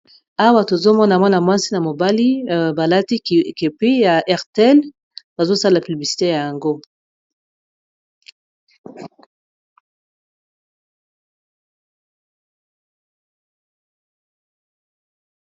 awa tozomona mwana mwasi na mobali balati kepi ya hertel bazosala pibisite ya yango